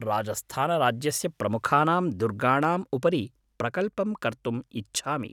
राजस्थानराज्यस्य प्रमुखानां दुर्गाणाम् उपरि प्रकल्पं कर्तुम् इच्छामि।